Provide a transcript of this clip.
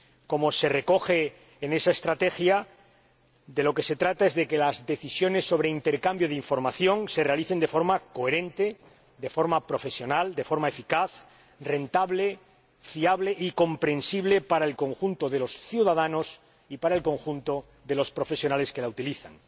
Como se recoge en esa estrategia, se trata de que las decisiones sobre intercambio de información se tomen de forma coherente, profesional, eficaz, rentable, fiable y comprensible para el conjunto de los ciudadanos y para el conjunto de los profesionales que la utilizan.